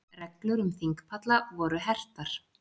Reglur um þingpalla voru hertar